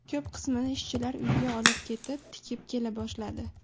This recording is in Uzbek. Ko‘p qismini ishchilar uyiga olib ketib, tikib kela boshladi.